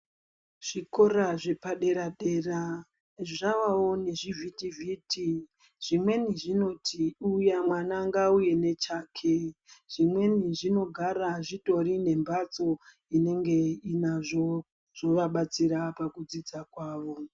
Zvikora zvepadera-dera zvavawo nezvivhiti-vhiti, zvimweni zvinoti mwana ngauye nechake, zvimweni zvinogara zvitori nembatso inenge inazvo zvovabatsira pakudzidza kwavo.